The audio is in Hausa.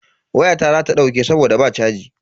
Wayata za ta dauke saboda ba chaji.